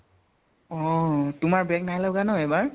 অহ । তোমাৰ back নাই লগা ন এইবাৰ?